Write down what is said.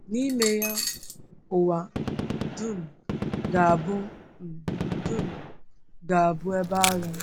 N’ime ya, ụwa um dum ga-abụ um dum ga-abụ ebe agha.